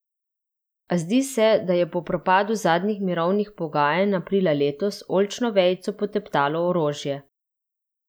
A zdi se, da je po propadu zadnjih mirovnih pogajanj aprila letos, oljčno vejico poteptalo orožje.